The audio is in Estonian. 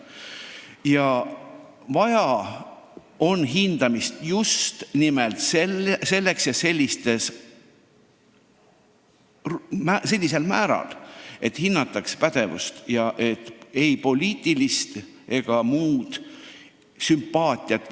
Hindamist on vaja just nimelt selleks ja sellisel määral, et hinnataks pädevust, mitte poliitilist ega muud meelsust.